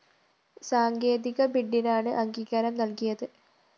സാങ്കേതിക ബിഡിനാണ് അംഗീകാരം നല്‍കിയത്